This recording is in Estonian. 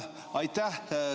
Aitäh!